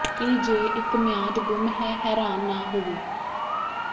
ਕੀ ਜੇ ਇੱਕ ਮਿਆਦ ਗੁੰਮ ਹੈ ਹੈਰਾਨ ਨਾ ਹੋਵੋ